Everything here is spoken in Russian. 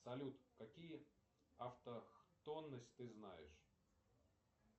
салют какие автохтонности ты знаешь